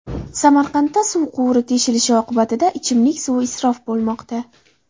Samarqandda suv quvuri teshilishi oqibatida ichimlik suvi isrof bo‘lmoqda.